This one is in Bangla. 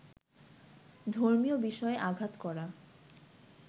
ধর্মীয় বিষয়ে আঘাত করা